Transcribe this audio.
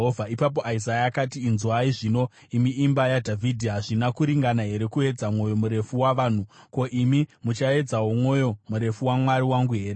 Ipapo Isaya akati, “Inzwai zvino, imi imba yaDhavhidhi! Hazvina kuringana here kuedza mwoyo murefu wavanhu? Ko, imi muchaedzawo mwoyo murefu waMwari wangu here?